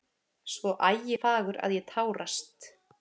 Svo ægifagur að ég tárast.